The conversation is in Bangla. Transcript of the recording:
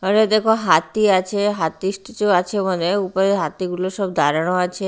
এখানে দেখো হাতি আছে হাতির কিছু আছে ওখানে উপরে হাতিগুলো সব দাঁড়ানো আছে।